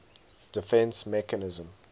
defence mechanism